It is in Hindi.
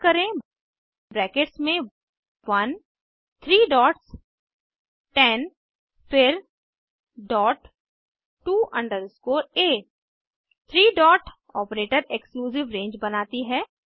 टाइप करें ब्रैकेट्स में 1 थ्री डॉट्स 10 फिर डॉट टू अंडरस्कोर आ three dot operator exclusive range बनाती है